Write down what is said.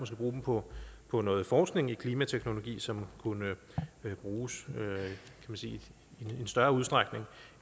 bruge dem på på noget forskning i klimateknologi som kunne bruges i en større udstrækning